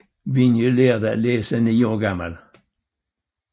Vinje lærte at læse ni år gammel